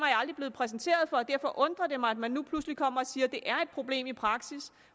jeg aldrig blevet præsenteret for og derfor undrer det mig at man nu pludselig kommer og siger at det er et problem i praksis